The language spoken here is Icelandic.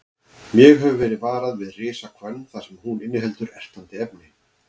Mjög hefur verið varað við risahvönn þar sem hún inniheldur ertandi efni.